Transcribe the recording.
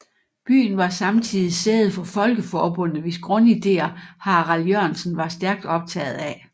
Byen var samtidig sæde for Folkeforbundet hvis grundidéer Harald Jørgensen var stærkt optaget af